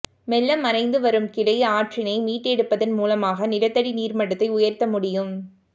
மெல்ல மறைந்து வரும் கிளை ஆற்றினை மீட்டெடுப்பதன் மூலமாக நிலத்தடி நீர்மட்டத்தை உயர்த்தமுடியும்